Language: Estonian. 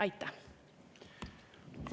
Aitäh!